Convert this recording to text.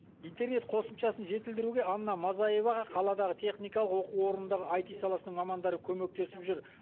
интернет қосымшасын жетілдіруге анна мазаеваға қаладағы техникалық оқу орындағы аити саласының мамандары көмектесіп жүр